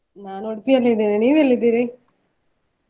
ನಾನು Udupi ಯಲ್ಲಿ ಇದ್ದೇನೆ ನೀವ್ ಎಲ್ಲಿದ್ದೀರಿ?